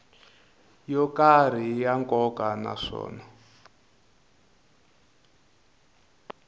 yo karhi ya nkoka naswona